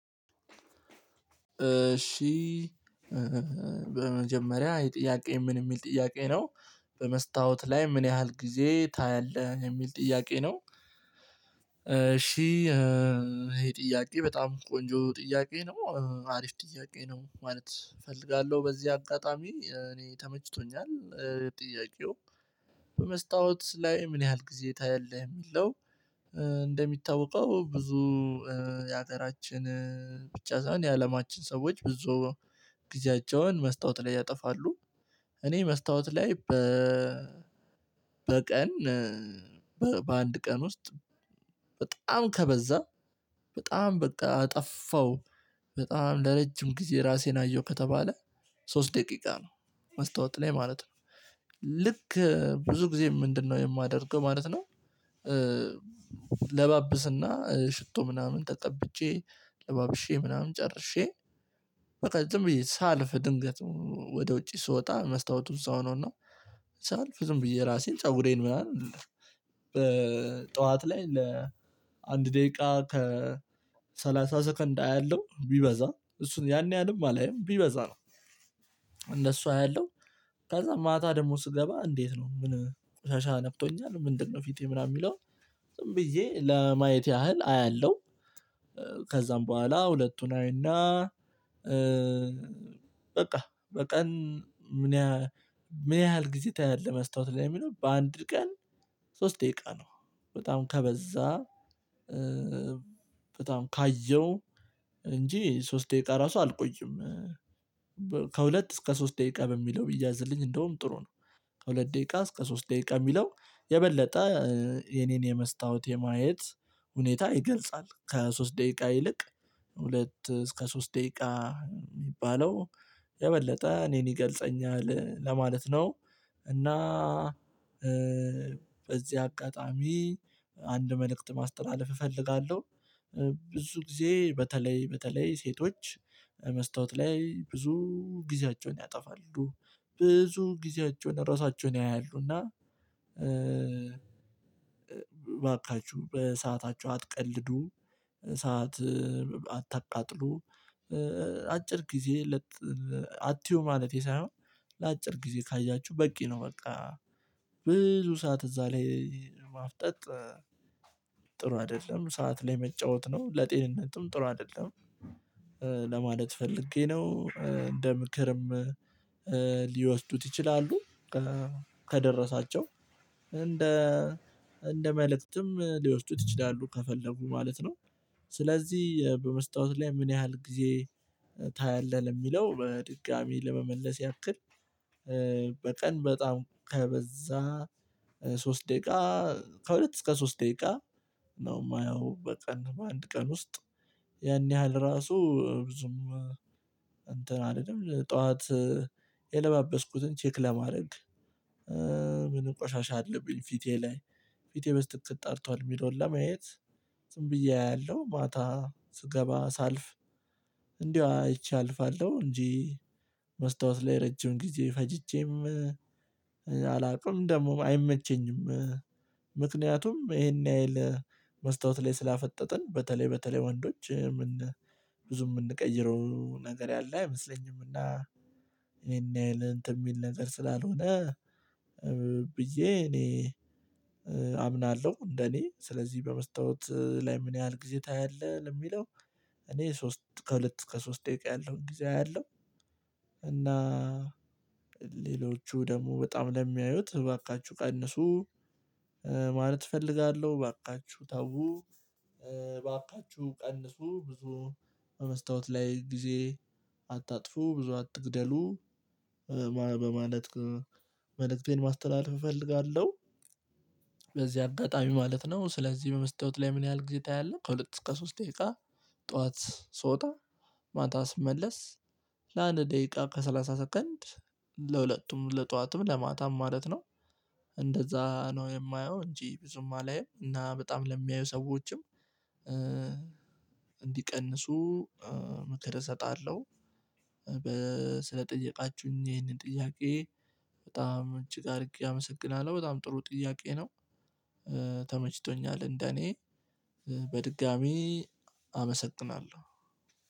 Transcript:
እሺ በመጀመሪያ ይህ ጥያቄ ምን የሚል ጥያቄ ነው። በመስታወት ላይ ምን ያህል ጊዜ ታያለህ የሚል ጥያቄ ነው። እሺ ይሄ ጥያቄ በጣም ቆንጆ ጥያቄ ነው አሪፍ ጥያቄ ነው ማለት እፈልጋለሁ በዚህ አጋጣሚ እኔ ተመችቶኛል። ጥያቄው በመስታወት ላይ ምን ያህል ጊዜ ታያለህ የሚለው? እንደሚታወቀው ብዙ የአገራችን ብቻ ሳይሆን የአለማችን ሰዎች ብዙ ጊዜያቸውን መስታወት ላይ ያጠፋሉ። እኔ መስታወት ላይ በ በቀን በአንድ ቀን ውስጥ በጣም ከበዛ በጣም በቃ አጠፋው። በጣም ለረጅም ጊዜ ራሴን አየሁ ከተባለ ሶስት ደቂቃ ነው መስታወት ላይ ማለት ነው። ልክ ብዙ ጊዜ ምንድነው የማደርገው ማለት ነው። እለባብስና ሽቶ ምናምን ተቀብቼ ለባብሼ ምናምን ጨርሼ በቃ ዝም ብዬ ሳልፍ ድንገት ወደ ውጪ ስወጣ መስታወቱ እዛው ነው። እና ሳልፍ ዝም ብዬ ራሴን ፀጉሬን ምናምን። በጠዋት ላይ ለአንድ ደቂቃ ከ ሰላሳ ሰከንድ አያለሁ ቢበዛ እሱን ያን ያህልም አላይም ቢበዛ ነው። እንደሱ አያለሁ። ከዛ ማታ ደግሞ ስገባ እንዴት ነው ምን ቆሻሻ ነክቶኛል ምንድነው ፊቴ ምናምን የሚለው? ብዬ ለማየት ያህል አያለሁ። ከዛም በኋላ ሁለቱን አይና በቃ በቀን ምን ያህል ምን ያህል ጊዜ ታያለህ መስታወት ላይ የሚለው በአንድ ቀን። ሶስት ደቂቃ ነው በጣም ከበዛ በጣም ካየው እንጂ ሶስት ደቂቃ ራሱ አልቆይም። ከሁለት እስከ ሶስት ደቂቃ በሚለው ቢያዝልኝ እንደውም ጥሩ ነው። ከሁለት ደቂቃ እስከ ሶስት ደቂቃ ሚለው የበለጠ የኔን የመስታወት የማየት ሁኔታ ይገልጻል። ከሶስት ደቂቃ ይልቅ ሁለት እስከ ሶስት ደቂቃ የሚባለው የበለጠ እኔን ይገልጸኛል ለማለት ነው። እና በዚህ አጋጣሚ አንድ መልእክት ማስተላለፍ እፈልጋለሁ። ብዙ ጊዜ በተለይ በተለይ ሴቶች መስታወት ላይ ብዙ ጊዜያቸውን ያጠፋሉ ብዙ ጊዜያቸውን ራሳቸውን ያያሉና። እባካችሁ በሰዓታችሁ አትቀልዱ። ሰዓት አታቃጥሉ። አጭር ጊዜ አትዩ ማለቴ ሳይሆን ለአጭር ጊዜ ካያችሁ በቂ ነው በቃ። ብዙ ሰዓት እዛ ላይ ማፍጠጥ ጥሩ አይደለም። ሰዓት ላይ መጫወት ነው ለጤንነትም ጥሩ አይደለም። ለማለት ፈልጌ ነው። እንደ ምክርም ሊወስዱት ይችላሉ። ከደረሳቸው እንደ እንደ መልእክትም ሊወስዱት ይችላሉ ከፈለጉ ማለት ነው። ስለዚህ በመስታወት ላይ ምን ያህል ጊዜ ታያለህ? ለሚለው በድጋሚ ለመመለስ ያክል በቀን በጣም ከበዛ ሶስት ደቂቃ ከሁለት እስከ ሶስት ደቂቃ ነው የማየው በቀን በአንድ ቀን ውስጥ። ያን ያህል ራሱ ብዙም እንትን አልልም። ጠዋት የለባበስኩትን ቼክ ለማድረግ ምን ቆሻሻ አለብኝ ፊቴ ላይ። ፊቴ በትክክል ጠርቷል የሚለውን ለማየት። ዝም ብዬ አያለሁ ማታ ስገባ ሳልፍ እንዲሁ አይቼ አልፋለሁ። እንጂ መስታወት ላይ ረጅም ጊዜ ፈጅቼም አላውቅም ደግሞም አይመቸኝም። ምክንያቱም ይሄን ያህል መስታወት ላይ ስላፈጠጥን በተለይ በተለይ ወንዶች ብዙም የምንቀይረው ነገር ያለ አይመስለኝም። እና ይሄን ያህል እንትን የሚል ነገር ስላልሆነ ብዬ እኔ አምናለሁ። እንደኔ ስለዚህ በመስታወት ላይ ምን ያህል ጊዜ ታያለህ ለሚለው? እኔ ሶስት ከሁለት እስከ ሶስት ደቂቃ ያለውን ጊዜ አያለሁ። እና ሌሎቹ ደግሞ በጣም ለሚያዩት እባካችሁ ቀንሱ። ማለት እፈልጋለሁ እባካችሁ ተው እባካችሁ ቀንሱ ብዙ በመስታወት ላይ ጊዜ አታጥፉ ብዙ አትግደሉ። በማለት መልእክቴን ማስተላለፍ እፈልጋለሁ። በዚህ አጋጣሚ ማለት ነው ስለዚህ በመስታወት ላይ ምን ያህል ጊዜ ታያለህ? ከሁለት እስከ ሶስት ደቂቃ ጠዋት ስወጣ ማታ ስመለስ ለአንድ ደቂቃ ከሰላሳ ሰከንድ ለሁለቱም ለጠዋትም ለማታም ማለት ነው። እንደዛ ነው የማየው እንጂ ብዙም አላይም። እና በጣም ለሚያዩ ሰዎችም እንዲቀንሱ ምክር እሰጣለሁ። በ ስለጠየቃችሁኝ ይሄንን ጥያቄ በጣም እጅግ አድርጌ አመሰግናለሁ በጣም ጥሩ ጥያቄ ነው። ተመችቶኛል እንደኔ በድጋሜ አመሰግናለሁ።